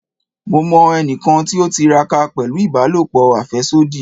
Mo mọ ẹnikan ti o tiraka pẹlu ibalopo afẹsodi